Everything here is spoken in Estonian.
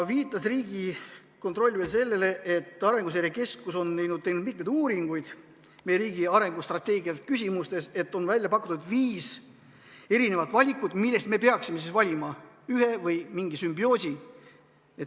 Riigikontroll viitas veel sellele, et Arenguseire Keskus on teinud mitmeid uuringuid meie riigi arengustrateegia küsimustes, on välja pakutud viis valikut, millest me peaksime valima ühe või mingi sümbioosi.